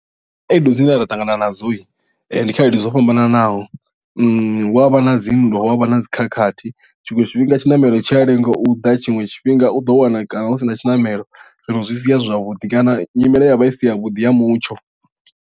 Khaedu dzine ra ṱangana nadzo ndi khaedu dzo fhambananaho hu avha na dzinndwa hu avha na dzi khakhathi tshiṅwe tshifhinga tshiṋamelo tshi a lenga u ḓa tshiṅwe tshifhinga u ḓo wana kana hu sina tshiṋamelo zwino zwi sia zwi si zwavhuḓi kana nyimele ya vha i si ya vhuḓi ya mutsho.